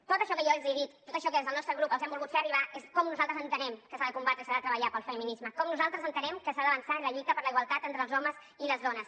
tot això que jo els he dit tot això que des del nostre grup els hem volgut fer arribar és com nosaltres entenem que s’ha de combatre i s’ha de treballar pel feminisme com nosaltres entenem que s’ha d’avançar en la lluita per la igualtat entre els homes i les dones